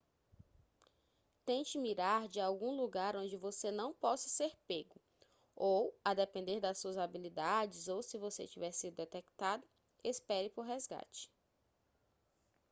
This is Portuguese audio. tente mirar de algum lugar onde você não possa ser pego ou a depender das suas habilidades ou se você tiver sido detectado espere por resgate